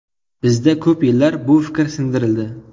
Bizda ko‘p yillar bir fikr singdirildi.